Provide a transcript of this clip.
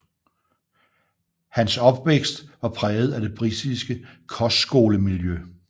Hans opvækst var præget af det britiske kostskolemiljø